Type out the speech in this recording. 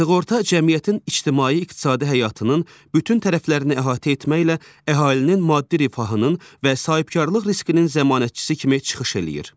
Sığorta cəmiyyətin ictimai-iqtisadi həyatının bütün tərəflərini əhatə etməklə əhalinin maddi rifahının və sahibkarlıq riskinin zəmanətçisi kimi çıxış eləyir.